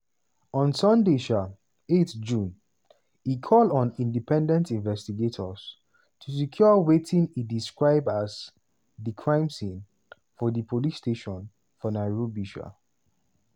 on sunday um 8 june e call on independent investigators to secure wetin e describe as "di crime scene" for di police station for nairobi. um